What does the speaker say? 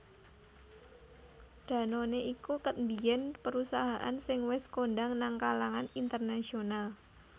Danone iku ket biyen perusahaan sing wes kondang nang kalangan internasional